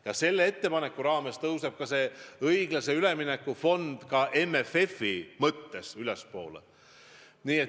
Ja selle ettepanekuga seoses tõuseb ka õiglase ülemineku fond MFF-i mõttes ülespoole.